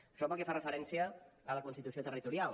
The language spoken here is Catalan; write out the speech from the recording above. això pel que fa referència a la constitució territorial